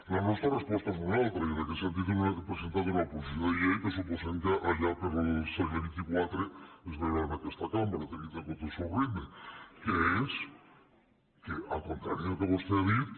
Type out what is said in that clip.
la nostra resposta és una altra i en aquest sentit hem presentat una proposició de llei que suposem que allà pel segle xxiv es veurà en aquesta cambra tenint en compte el seu ritme que és al contrari del que vostè ha dit